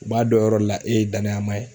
U b'a dɔn o yɔrɔ de la e ye danayamaa ye.